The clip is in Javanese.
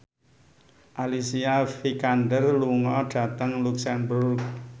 Alicia Vikander lunga dhateng luxemburg